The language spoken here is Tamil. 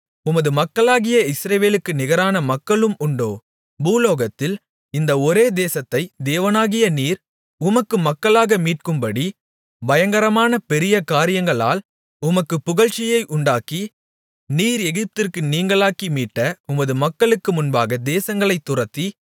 உமது மக்களாகிய இஸ்ரவேலுக்கு நிகரான மக்களும் உண்டோ பூலோகத்தில் இந்த ஒரே தேசத்தை தேவனாகிய நீர் உமக்கு மக்களாக மீட்கும்படி பயங்கரமான பெரிய காரியங்களால் உமக்கு புகழ்ச்சியை உண்டாக்கி நீர் எகிப்திற்கு நீங்கலாக்கி மீட்ட உமது மக்களுக்கு முன்பாக தேசங்களைத் துரத்தி